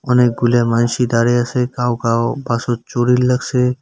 অনেকগুল্যা মানুষি দাঁড়ায় আসে কাউ কাউ বাসুর চরুর লাগসে।